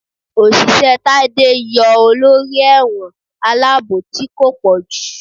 Oṣiṣẹ Tade yọọ olorí ẹwọ́n alabò tí ko pojú.